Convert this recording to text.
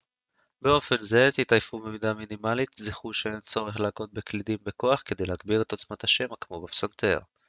באופן זה תתעייפו במידה מינימלית זכרו שאין צורך להכות בקלידים בכוח כדי להגביר את עוצמת השמע כמו בפסנתר